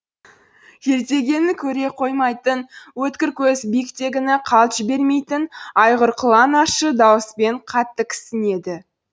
жердегені көре қоймайтын өткір көзі биіктегіні қалт жібермейтін айғыр құлан ащы дауыспен қатты кісінеді